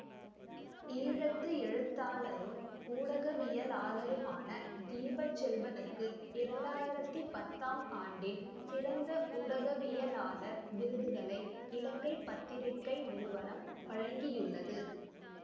ஈழத்து எழுத்தாளரும் ஊடகவியலாளருமான தீபச்செல்வனுக்கு இரண்டு ஆயிரத்தி பத்தாம் ஆண்டின் சிறந்த ஊடகவியளாளர் விருதுகளை இலங்கை பத்திரிகை நிறுவனம் வழங்கியுள்ளது